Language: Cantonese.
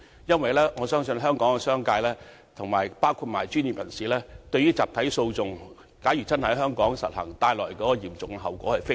因為我相信香港商界與專業人士均非常關注一旦集體訴訟真的在香港推行所帶來的嚴重後果。